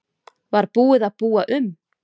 Var búið að búa um?